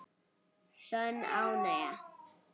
Sönn ánægja.